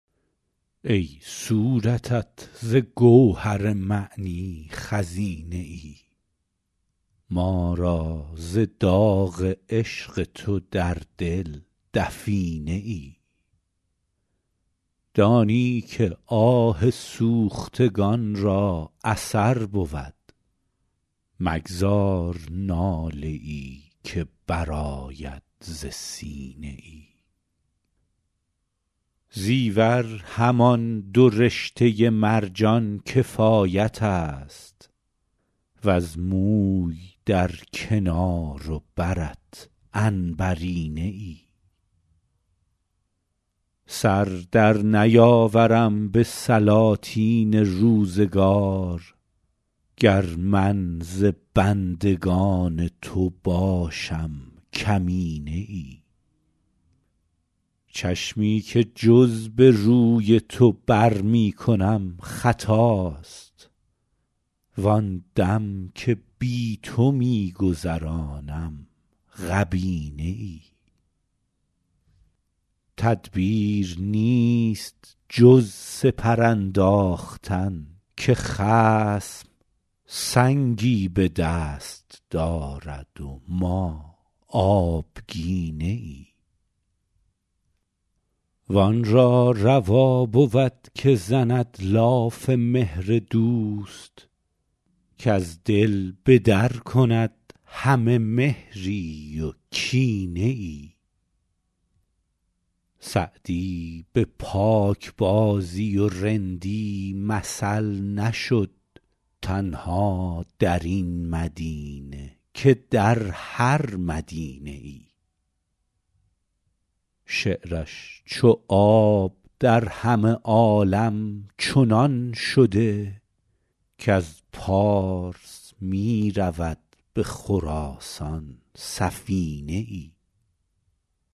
ای صورتت ز گوهر معنی خزینه ای ما را ز داغ عشق تو در دل دفینه ای دانی که آه سوختگان را اثر بود مگذار ناله ای که برآید ز سینه ای زیور همان دو رشته مرجان کفایت است وز موی در کنار و برت عنبرینه ای سر در نیاورم به سلاطین روزگار گر من ز بندگان تو باشم کمینه ای چشمی که جز به روی تو بر می کنم خطاست وآن دم که بی تو می گذرانم غبینه ای تدبیر نیست جز سپر انداختن که خصم سنگی به دست دارد و ما آبگینه ای وآن را روا بود که زند لاف مهر دوست کز دل به در کند همه مهری و کینه ای سعدی به پاکبازی و رندی مثل نشد تنها در این مدینه که در هر مدینه ای شعرش چو آب در همه عالم چنان شده کز پارس می رود به خراسان سفینه ای